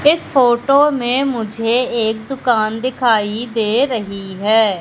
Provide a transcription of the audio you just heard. इस फोटो में मुझे एक दुकान दिखाई दे रही है।